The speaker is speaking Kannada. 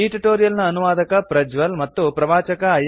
ಈ ಟ್ಯುಟೋರಿಯಲ್ ನ ಅನುವಾದಕ ಪ್ರಜ್ವಲ್ ಮತ್ತು ಪ್ರವಾಚಕ ಐ